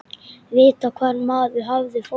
Vita hvar maður hafði fólk.